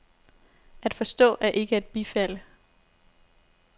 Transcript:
At forstå er ikke at bifalde.